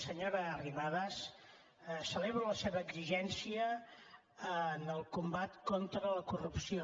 senyora arrimadas celebro la seva exigència en el combat contra la corrupció